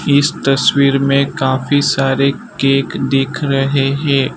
इस तस्वीर में काफी सारे केक दिख रहे है।